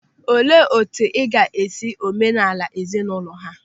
Olee otu ị ga-esi omenala ezinaụlọ ha?